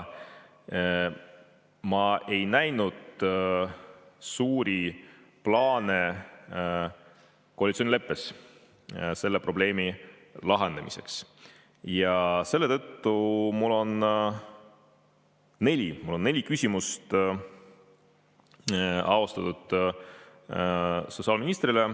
Ma ei näinud koalitsioonileppes suuri plaane selle probleemi lahendamiseks ja selle tõttu mul on neli küsimust austatud sotsiaalministrile.